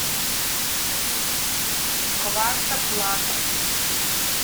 квартоплат